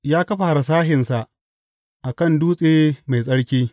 Ya kafa harsashinsa a kan dutse mai tsarki.